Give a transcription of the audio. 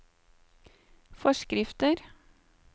forskrifter